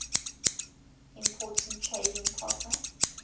important trading partner